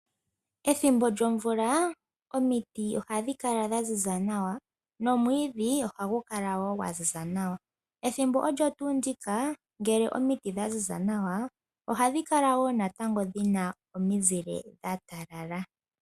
Ethimbo lyomvula omiti ohadhi kala dha ziza nawa nomwiidhi ohagu kala gwa ziza nawa ethimbo olyo tuu ndika ngele omiti dha ziza nawa ohadhi kala natango dhina omizile dha talala.